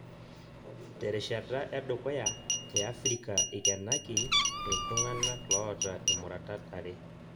Terishata edukuya te afirika ikenaki ilntung'anka loota imuratat are